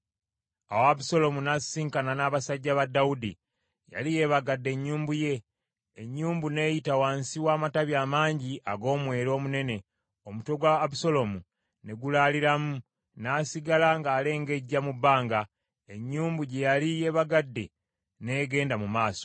Awo Abusaalomu n’asisinkana n’abasajja ba Dawudi. Yali yeebagadde ennyumbu ye. Ennyumbu n’eyita wansi w’amatabi amangi ag’omwera omunene, omutwe gwa Abusaalomu ne gulaaliramu, n’asigala ng’alengejja mu bbanga, ennyumbu gye yali yeebagadde n’egenda mu maaso.